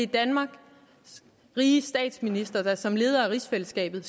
danmarks riges statsminister og som leder af rigsfællesskabet